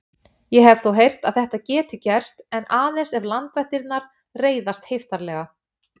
Ég hef þó heyrt að þetta geti gerst en aðeins ef landvættirnar reiðast heiftarlega